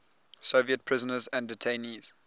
soviet prisoners and detainees